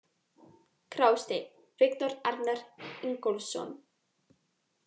Grásteinn: Viktor Arnar Ingólfsson.